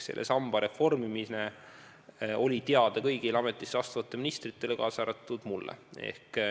Selle samba reformimine oli teada kõigile ametisse astuvatele ministritele, kaasa arvatud mulle.